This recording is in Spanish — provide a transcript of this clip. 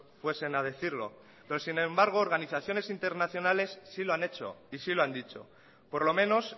fuesen a decirlo pero sin embargo organizaciones internacionales sí lo han hecho y sí lo han dicho por lo menos